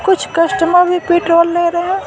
कुछ कस्टमर भी पेट्रोल ले रहे हैं।